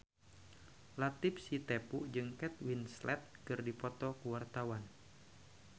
Latief Sitepu jeung Kate Winslet keur dipoto ku wartawan